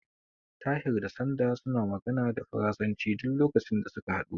Tahir da Sanda sun magana da faransanci duk lokacin da suka haɗu.